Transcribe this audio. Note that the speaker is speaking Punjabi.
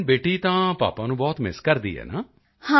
ਲੇਕਿਨ ਬੇਟੀ ਤਾਂ ਪਾਪਾ ਨੂੰ ਬਹੁਤ ਮਿੱਸ ਕਰਦੀ ਹੈਂ ਨਾ